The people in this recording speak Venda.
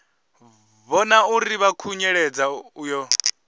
vhona uri vha khunyeledza uyo